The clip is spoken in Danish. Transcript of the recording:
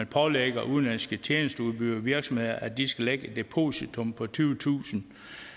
pålægge udenlandske tjenesteudbydere og virksomheder at de skal lægge et depositum på tyvetusind